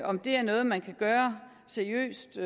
om det er noget man kan gøre seriøst